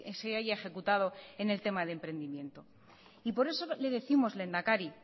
se haya ejecutado en el tema de emprendimiento y por eso le décimos lehendakari